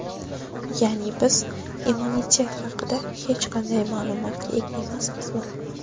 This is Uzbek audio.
Ya’ni biz immunitet haqida hech qanday ma’lumotga ega emasmizmi?